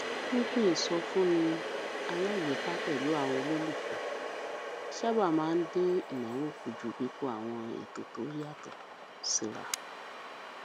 pípín ìsọfúnni alágbèéká pẹlú àwọn olólùfẹ sábà máa ń dín ìnáwó kù ju kíkó àwọn ètò tó yàtọ síra